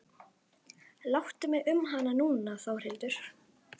Láttu mig um hana núna Þórhildur.